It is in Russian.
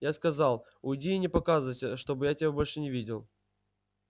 я сказал уйди и не показывайся чтобы я тебя больше не видел